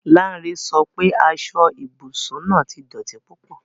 Lanre sọ pe aso ibusun naa ti dọti pupọ